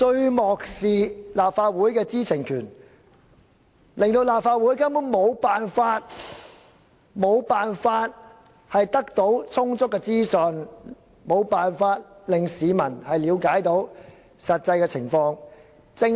當局漠視立法會的知情權，令立法會根本無法得到充足的資訊，市民無法了解實際的情況。